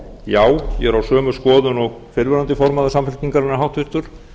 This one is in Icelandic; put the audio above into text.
já ég er á sömu skoðun og fyrrverandi formaður samfylkingarinnar háttvirtur